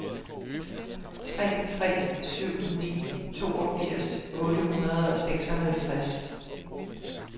tre tre syv ni toogfirs otte hundrede og seksoghalvtreds